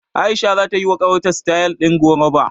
A'isha zata yiwa ƙawarta sitayal ɗin koroba.